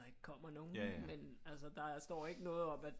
Der ikke kommer nogen men altså der står ikke noget om at